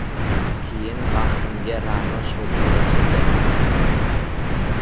Keyin baxtimga Ra’no Shodiyeva chiqdi.